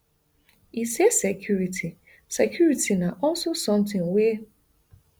e say security security na also somtin wey